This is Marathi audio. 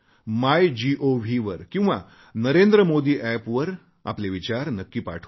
मायगोव वर किंवा NarendraModiApp वर आपले विचार नक्की पाठवा